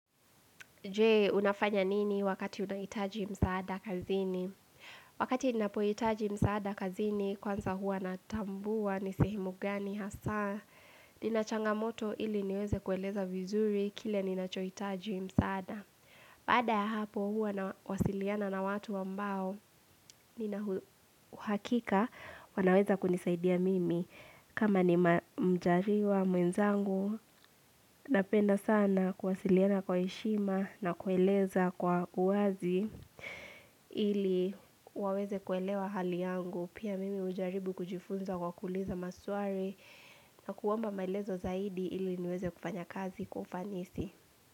Je, unafanya nini wakati unahitaji msaada kazini? Wakati ninapohitaji msaada kazini, kwanza huwa natambua ni sehemu gani hasa. Ina changamoto ili niweze kueleza vizuri, kile ninachohitaji msaada. Baada ya hapo hua nawasiliana na watu ambao, nina uhakika, wanaweza kunisaidia mimi. Kama ni mjariwa mwenzangu, napenda sana kuwasiliana kwa heshima na kueleza kwa uwazi ili waweze kuelewa hali yangu. Pia mimi hujaribu kujifunza kwa kuuliza maswali na kuomba maelezo zaidi ili niweze kufanya kazi kwa ufanisi.